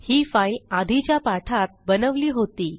ही file आधीच्या पाठात बनवली होती